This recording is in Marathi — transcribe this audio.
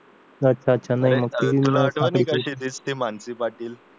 तुला आठवते का क्षितिज ती मानसी पाटील